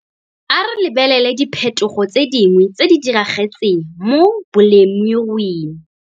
A re lebelele diphethogo tse dingwe tse di diragetseng mo bolemiruing.